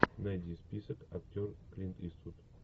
найди список актер клинт иствуд